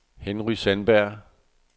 Henry Sandberg